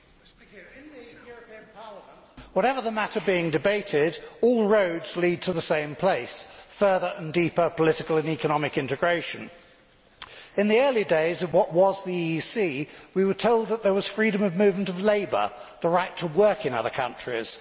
Mr President, in this European Parliament, whatever the matter being debated, all roads lead to the same place further and deeper political and economic integration. In the early days of what was the EEC we were told that there was freedom of movement of labour the right to work in other countries.